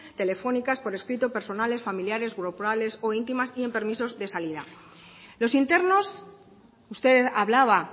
telefónicas por escrito personales familiares grupales o íntimas y en permisos de salida los internos usted hablaba